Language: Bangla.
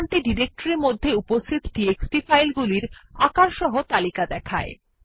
এই কমান্ডটি ডিরেক্টরির মধ্যে উপস্থিত টিএক্সটি ফাইলগুলির আকারসহ তালিকা দেখায়